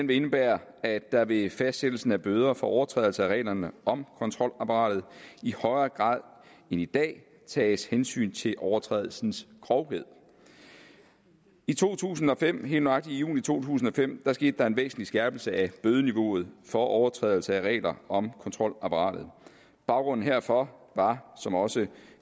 vil indebære at der ved fastsættelsen af bøder for overtrædelse af reglerne om kontrolapparatet i højere grad end i dag tages hensyn til overtrædelsens grovhed i to tusind og fem helt nøjagtigt i juni to tusind og fem skete der en væsentlig skærpelse af bødeniveauet for overtrædelse af regler om kontrolapparatet baggrunden herfor var som også